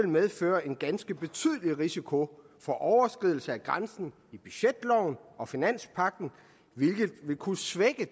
medføre en ganske betydelig risiko for overskridelse af grænsen i budgetloven og finanspagten hvilket vil kunne svække